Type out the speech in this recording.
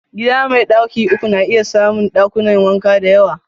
Gida mai daki uku na iya samun dakunan wanka da yawa.